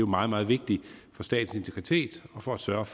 meget meget vigtigt for statens integritet og for at sørge